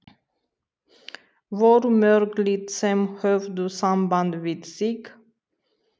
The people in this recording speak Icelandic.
Voru mörg lið sem höfðu samband við þig?